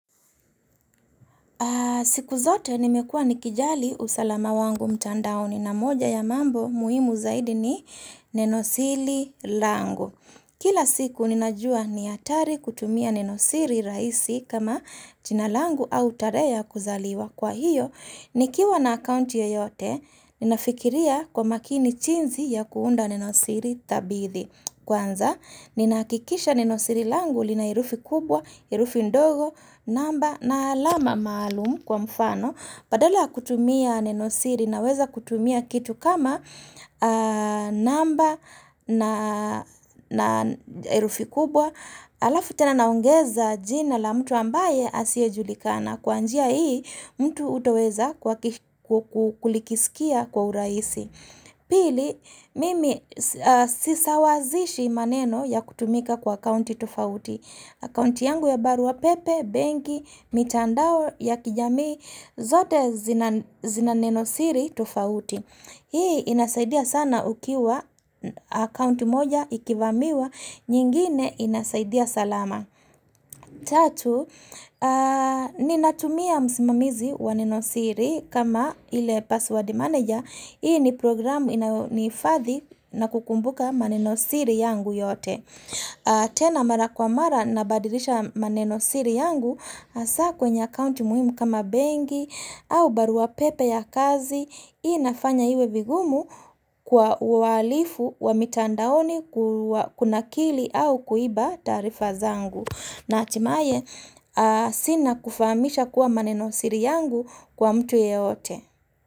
Siku zote nimekua nikijali usalama wangu mtandaoni na moja ya mambo muhimu zaidi ni neno sili langu. Kila siku ninajua ni atari kutumia nenosiri raisi kama chinalangu au tare ya kuzaliwa. Kwa hiyo, nikiwa na akounti yeyote, ninafikiria kwa makini jinzi ya kuunda nenosiri tabithi. Kwanza, ninakikisha ninosiri langu lina herufi kubwa, herufi ndogo, namba na alama maalumu kwa mfano. Badala ya kutumia ninosiri naweza kutumia kitu kama namba na herufi kubwa. Alafu tena naongeza jina la mtu ambaye asiye julikana. Kwa njia hii, mtu hutoweza kulikisikia kwa huraisi. Pili, mimi sisawazishi maneno ya kutumika kwa accounti tufauti. Accounti yangu ya baru wa pepe, benki, mitandao ya kijamii, zote zina nenosiri tufauti. Hii inasaidia sana ukiwa accounti moja ikivamiwa, nyingine inasaidia salama. Tatu, ni natumia msimamizi wanenosiri kama ile password manager. Hii ni programu ni ifadhi na kukumbuka manenosiri yangu yote. Tena mara kwa mara nabadirisha manenosiri yangu hasa kwenye account muhimu kama bengi au barua pepe ya kazi. Hii nafanya iwe vigumu kwa uhalifu wa mitandaoni kuna kili au kuiba tarifa zangu na hatimaye sina kufamisha kuwa manenosiri yangu kwa mtu yeyote.